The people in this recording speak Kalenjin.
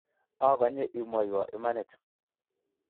akonye imwoiwo imanit